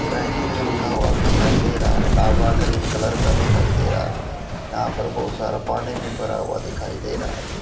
वहीं कुछ लिखा हुआ भी दिखाई दे रहा है ढाबा ग्रीन कलर का दिखाई दे रहा है यहां पर बहुत सारा पानी भी भरा हुआ दिखाई दे रहा है।